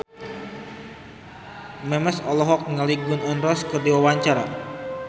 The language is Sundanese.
Memes olohok ningali Gun N Roses keur diwawancara